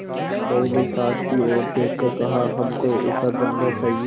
बहू ने सास की ओर देख कर कहाहमको ऐसा धन न चाहिए